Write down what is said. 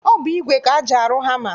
Ọ bụ igwe ka eji arụ hama